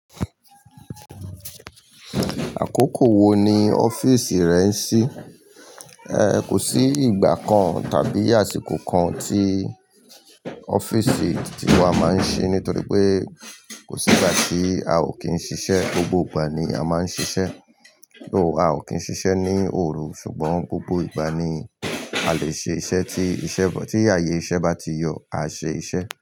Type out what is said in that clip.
Àkókò wo ni ọ́fíìsì rẹ ń ṣí? E, kò sí ìgbà kan tàbí àsìkò kan tí ọ́fíìsì ti wa máa ń ṣí nítorí pé kò sí ìgbà tí a ò kí n ṣiṣẹ́. Gbogbo ìgbà ni a máa ń ṣiṣẹ́. O, a ò kí n ṣiṣẹ́ ní òru ṣùgbọ́n gbogbo ìgbà ni a lè ṣe iṣẹ́ tí ìṣe bọ-- tí ààyè iṣẹ́ bá ti yọ, a ṣe iṣẹ́.